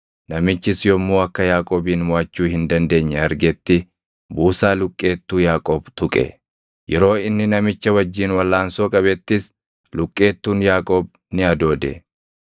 Namichis yommuu akka Yaaqoobin moʼachuu hin dandeenye argetti, buusaa luqqeettuu Yaaqoob tuqe; yeroo inni namicha wajjin walʼaansoo qabettis luqqeettuun Yaaqoob ni adoode.